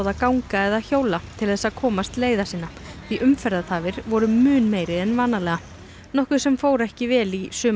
ganga eða hjóla til þess að komast leiða sinna því umferðartafir voru mun meiri en vanalega nokkuð sem fór ekki vel í suma